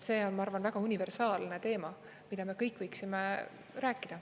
See on, ma arvan, väga universaalne teema, mida me kõik võiksime rääkida.